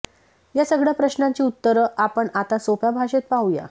या सगळ्या प्रश्नांची उत्तरं आपण आता सोप्या भाषेत पाहूया